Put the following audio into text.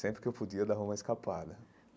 Sempre que eu podia dar uma escapada.